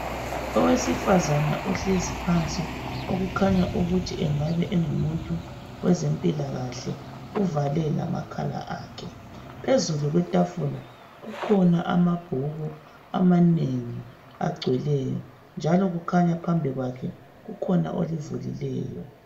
Owesifazana ohlezi phansi okukhanya ukuthi engabe engumuntu wezempilakahle uvale amakhala akhe, phezulu kwetafula kukhona amabhuku amanengi agcweleyo njalo kukhanya phambi kwakhe kukhona olivulileyo.